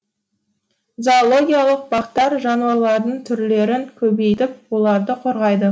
зоологиялық бақтар жануарлардың түрлерін көбейтіп оларды қорғайды